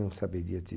Não saberia te